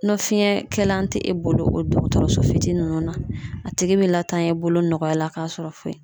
Ni fiyɛn kɛlan tɛ e bolo o dɔgɔtɔrɔso fitiinin ninnu na, a tigi bɛ latanya i bolo nɔgɔya la k'a sɔrɔ foyi .